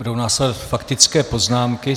Budou následovat faktické poznámky.